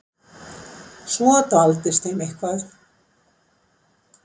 Svo dvaldist þeim eitthvað.